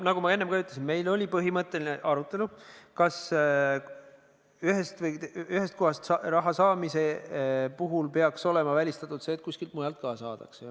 Nagu ma enne juba ütlesin, meil oli põhimõtteline arutelu, kas ühest kohast raha saamise puhul peaks olema välistatud see, et kuskilt mujalt ka saadakse.